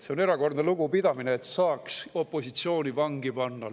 See on erakordne lugupidamine, et saaks opositsiooni vangi panna.